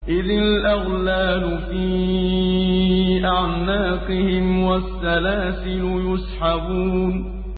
إِذِ الْأَغْلَالُ فِي أَعْنَاقِهِمْ وَالسَّلَاسِلُ يُسْحَبُونَ إِذِ الْأَغْلَالُ فِي أَعْنَاقِهِمْ وَالسَّلَاسِلُ يُسْحَبُونَ